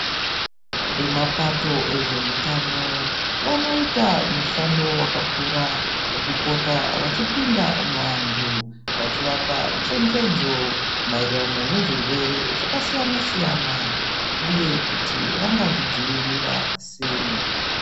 Vemapato ezvehutano vanoita mushando vakakura vokupota vachipinda muvantu. Vachivapa chenjedzo maererano nezvirwere zvakasiyana-siyana, uye kuti vangazvidzivirira sei.